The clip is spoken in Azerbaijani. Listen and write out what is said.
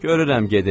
Görürəm gedib.